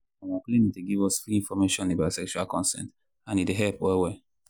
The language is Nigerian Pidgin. our clinic dey give us free information about sexual consent and e dey help well well.